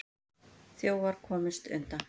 Þjófar komust undan.